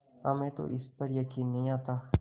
हमें तो इस पर यकीन नहीं आता